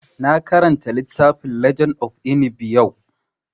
Na karanta littafin legend of Inigɓi yau